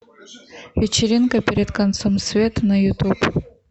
вечеринка перед концом света на ютуб